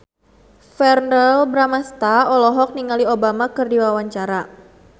Verrell Bramastra olohok ningali Obama keur diwawancara